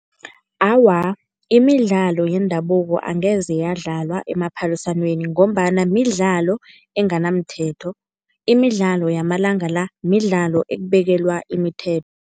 Awa, imidlalo yendabuko angeze yadlalwa emaphaliswaneni ngombana midlalo enganamthetho. Imidlalo yamalanga la midlalo ekubekela imithetho.